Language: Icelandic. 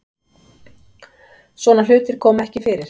Svona hlutir koma ekki fyrir